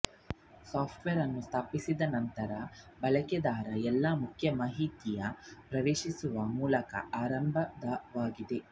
software ಅನ್ನು ಸ್ಥಾಪಿಸಿದ ನಂತರ ಬಳಕೆದಾರ ಎಲ್ಲಾ ಮುಖ್ಯ ಮಾಹಿತಿ ಪ್ರವೇಶಿಸುವ ಮೂಲಕ ಆರಂಭವಾಗುತ್ತದೆ